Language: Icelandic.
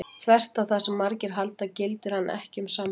Þvert á það sem margir halda gildir hann ekki um sambúð.